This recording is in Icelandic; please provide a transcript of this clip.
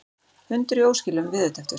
Hundur í óskilum veðurtepptur